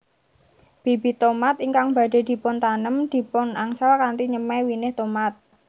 Bibit tomat ingkang badhé dipuntanem dipunangsal kanthi nyemai winih tomat